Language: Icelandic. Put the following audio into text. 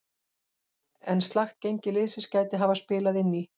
En slakt gengi liðsins gæti hafa spilað inn í.